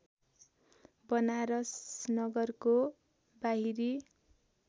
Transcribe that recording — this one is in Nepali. वनारस नगरको बाहिरी